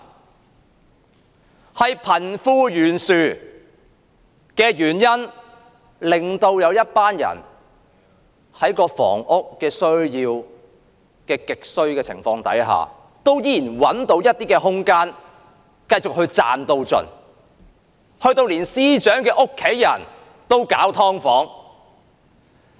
因為貧富懸殊的問題，在房屋需求極為殷切的情況下，有一群人找到空間繼續賺到盡，甚至連財政司司長的家人也搞"劏房"。